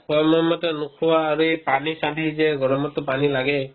সময়মতে নোখোৱা আৰু এই পানী চানী যে এই গৰমততো পানী লাগেই